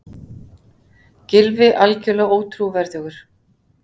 Gylfi algjörlega ótrúverðugur